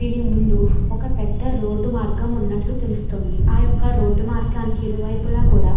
దీని ముండు ఒక పెద్ద రోడ్డు మార్గం ఉన్నట్టు తెలుస్తుంది. ఆ యొక్క రోడ్డు మార్గనికి ఇరు వైపులా కూడా --